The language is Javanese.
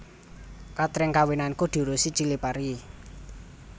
Katring kawinanku diurusi Chilipari